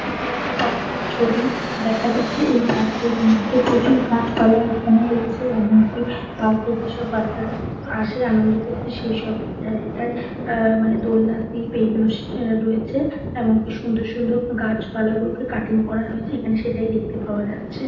এটা একটা পার্ক -এর ছবি। দেখা যাচ্ছে এই পার্ক -এর মধ্যে প্রচুর গাছ পালা এখানে রয়েছে। এমন কি পার্ক -এ যেসব বাচ্চা রা আসে আনন্দ করতে সেইসব জায়গায়। এ মানে দোলনা স্লিপ এগুলো রয়েছে এমন কি সুন্দর সুন্দর গাছ পালা গুলোকে কাটিং করা রয়েছে ।এখানে সেটাই দেখতে পাওয়া যাচ্ছে।